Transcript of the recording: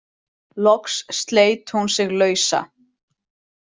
Loks sleit hún sig lausa.